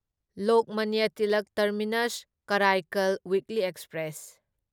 Lokmanya Tilak terminus Karaikal weekly express